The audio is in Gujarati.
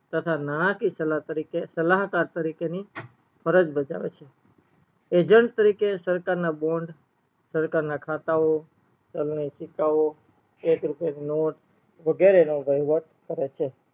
તથા નાણકીય સલાહકાર તરીકે ની ફરજ બજાવે છે agent તરીકે સરકાર ના bond સરકાર ના ખાતાઓ ચાલની સિક્કાઓ એક રૂપિયાની નોટ વગેરે નો વહીવટ કરે છે